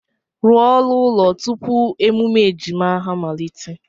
Rụọ oru ụlọ tupu emume ejima amalite!